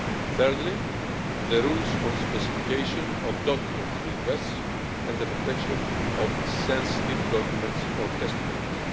Thirdly, the rules on specification of document requests and the protection of sensitive documents or testimonies.